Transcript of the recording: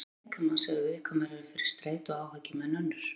Sum svæði líkamans eru viðkvæmari fyrir streitu og áhyggjum en önnur.